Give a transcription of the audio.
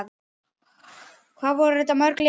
Hvað voru þetta mörg lið?